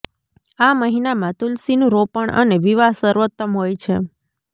આ મહિનામાં તુલસીનું રોપણ અને વિવાહ સર્વોત્તમ હોય છે